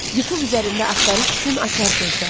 Youtube üzərində axtarış üçün açar sözlər: